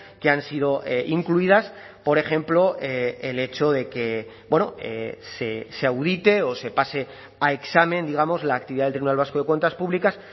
que han sido incluidas por ejemplo el hecho de que se audite o se pase a examen digamos la actividad del tribunal vasco de cuentas públicas